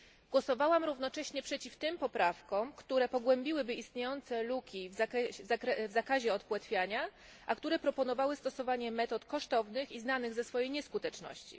Głosowałam równocześnie przeciw tym poprawkom, które pogłębiłyby istniejące luki w zakazie odpłetwiania, a które proponowały stosowanie metod kosztownych i znanych ze swojej nieskuteczności.